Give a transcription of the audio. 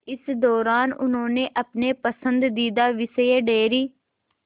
इस दौरान उन्होंने अपने पसंदीदा विषय डेयरी